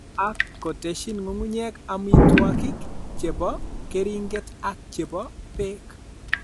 Ak kotesyin ng'ung'unyek amitwogik che po keriinget ak che po peek.